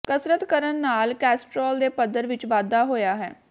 ਕਸਰਤ ਕਰਨ ਨਾਲ ਕੋਲੇਸਟ੍ਰੋਲ ਦੇ ਪੱਧਰ ਵਿਚ ਵਾਧਾ ਹੋਇਆ ਹੈ